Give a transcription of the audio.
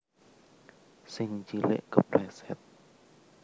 Sing cilik kepleset